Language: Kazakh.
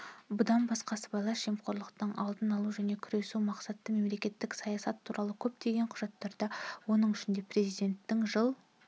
бұдан басқа сыбайлас жемқорлықтың алдын алу және күресу мақсаты мемлекеттік саясат туралы көптеген құжаттарда оның ішінде президенттің жыл